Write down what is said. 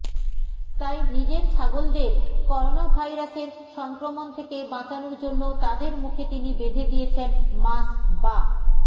তাই নিজের ছাগলদের করোনাভাইরাসের সংক্রমণ থেকে বাঁচানোর জন্য তাদের মুখে তিনি বেঁধে দিয়েছেন মাস্ক বা